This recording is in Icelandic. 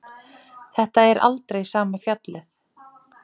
Þetta er aldrei sama fjallið.